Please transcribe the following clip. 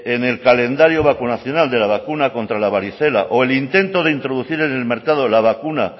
en el calendario vacunacional de la vacuna contra la varicela o el intento de introducir en el mercado la vacuna